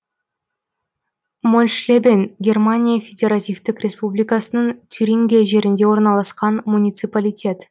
мольшлебен германия федеративтік республикасының тюрингия жерінде орналасқан муниципалитет